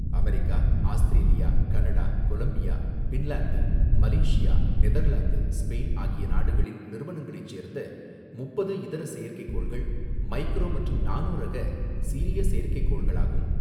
America, Australia, Canada, Colombia, Finland, Malaysia, Netherlands, Spain ஆகிய நாடுகளின் நிறுவனங்களைச் சேர்ந்த முப்பது இதர செயற்கைக் கோள்கள், மைக்ரோ மற்றும் நானோ ரக சிறிய செயற்கைக் கோள்களாகும்.